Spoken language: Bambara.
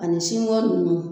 Ani sinkɔn nunnu